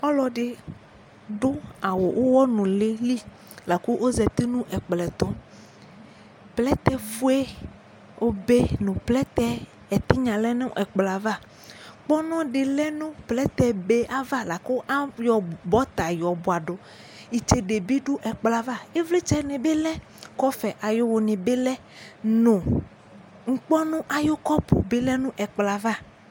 Ɔlɔ ɖɩ ɖʋ awʋ ʋwɔ nʋlɩ liOzati nʋ ɛƙplɔ ɛtʋ Plɛtɛ fue obe nʋ plɛtɛ tɩnƴa lɛ nʋ ɛƙplɔ avaƘpɔnɔ ɖɩ lɛ nʋ plɛtɛ be ava laƙʋ aƴɔ bɔta ƴɔ bʋaɖʋItseɖe bɩ ɖʋ ɛplɔ ava ,ivlɩtsɛ nɩ bɩ lɛƙɔfɛ wʋ nɩ bɩ lɛ ŋƙpɔnʋ aƴʋ ƙɔpʋ bɩ lɛ nʋ ɛƙplɔ ava